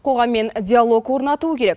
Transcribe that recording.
қоғаммен диалог орнатуы керек